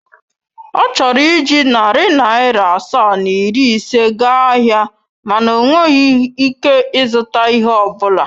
Ọ chọrọ iji narị naira asaa na iri ise gaa ahịa mana o nweghị ike ịzụta ihe ọ bụla.